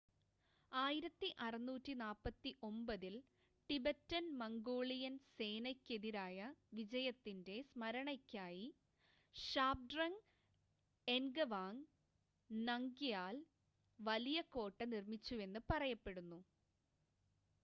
1649-ൽ Tibetan Mongolian സേനയ്‌ക്കെതിരായ വിജയത്തിൻ്റെ സ്‌മരണയ്ക്കായി ഷാബ്ഡ്രങ് എൻഗവാങ് നംഗ്യാൽ വലിയ കോട്ട നിർമ്മിച്ചുവെന്ന് പറയപ്പെടുന്നു